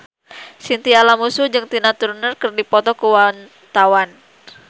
Chintya Lamusu jeung Tina Turner keur dipoto ku wartawan